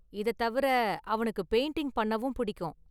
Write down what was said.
இத தவிர அவனுக்கு பெயிண்டிங் பண்ணவும் பிடிக்கும்.